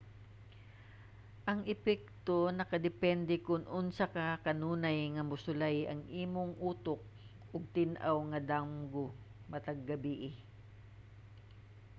ang epekto nakadepende kon unsa ka kanunay nga mosulay ang imong utok og tin-aw nga damgo matag gabii